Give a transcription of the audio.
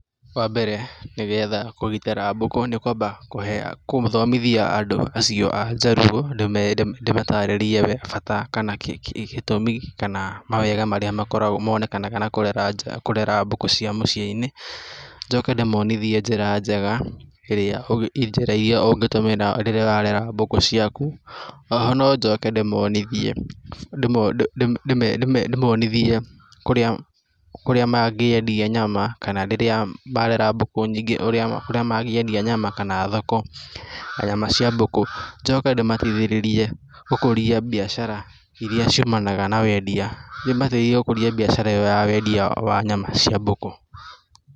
Wa mbere nĩgetha kũgitĩra mbũkũ nĩ kwamba gũthomithia andũ acio a njaruo, ndĩmatarĩrie bata kana gĩtũmi kana mawega marĩa makora, monekanaga na kũrera nja , kũrera mbũkũ cia mũciĩ-inĩ, njoke ndĩmonithie njĩra njega ĩrĩa, njĩra iria ũngĩtũmĩra rĩrĩa ũrarera mbũkũ ciaku. O ho no njoke ndĩmonithie ndĩmonithie kũrĩa mangĩendia nyama kana rĩrĩa marera mbũkũ nyingĩ ũrĩa mangĩendia nyama kana thoko ya nyama cia mbũkũ, njoke ndĩmateithĩrĩrie gũkũria biacara iria ciumanaga na wendia, ndĩmateithie gũkũria biacara ĩyo ya wendia wa nyama cia mbũkũ.